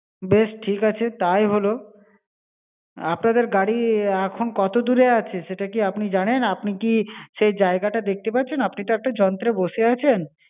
বেশ, ঠিক আছে, তাই হল। আপনাদের গাড়ি এখন কত দূরে আছে, সেটা কি আপনি জানেন? আপনি কি সেই জায়গাটা দেখতে পারছেন? আপনি তো একটা যন্ত্রে বসে আছেন।